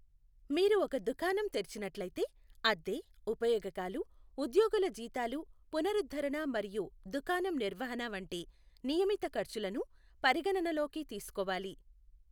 మీరు ఒక దుకాణం తెరిచినట్లయితే, అద్దె, ఉపయోగకాలు, ఉద్యోగుల జీతాలు, పునరుద్ధరణ మరియు దుకాణం నిర్వహణ వంటి నియమిత ఖర్చులను పరిగణనలోకి తీసుకోవాలి.